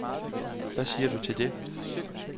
Hvad siger du til det?